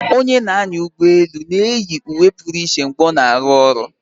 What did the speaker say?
Onye na-anya ụgbọelu na-eyi uwe pụrụ iche mgbe ọ na-arụ ọrụ